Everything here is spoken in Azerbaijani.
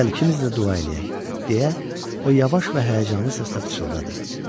Gəl ikimiz də dua eləyək, deyə o yavaş və həyəcanlı səslə pıçıldadı.